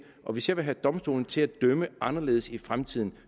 og hvis jeg vil have domstolene til at dømme anderledes i fremtiden